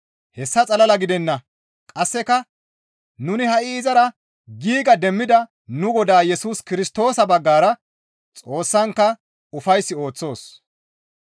Hessa xalala gidenna; qasseka nuni ha7i izara giiga demmida nu Godaa Yesus Kirstoosa baggara Xoossankka ufays ooththoos.